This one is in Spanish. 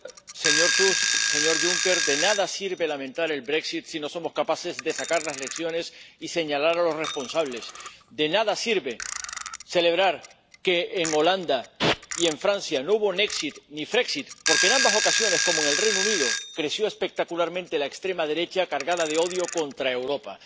Señora presidenta. Señor Tusk, señor Juncker, de nada sirve lamentar el si no somos capaces de sacar las lecciones y señalar a los responsables. De nada sirve celebrar que en Holanda y en Francia no hubo ni porque en ambas ocasiones, como en el Reino Unido, creció espectacularmente la extrema derecha, cargada de odio contra Europa.